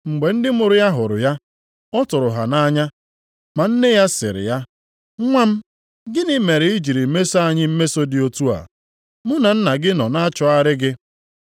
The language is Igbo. Mgbe ndị mụrụ ya hụrụ ya, ọ tụrụ ha nʼanya, ma nne ya sịrị ya, “Nwa m, gịnị mere i ji mesoo anyị mmeso dị otu a? Mụ na nna gị nọ na-achọgharị gị?”